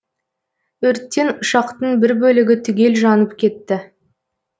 өрттен ұшақтың бір бөлігі түгел жанып кетті